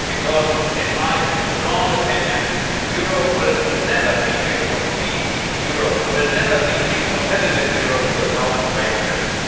It is my strong opinion that Europe will never be a complete Europe, will never be a competitive Europe, without Great Britain.